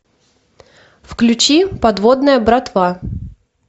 включи подводная братва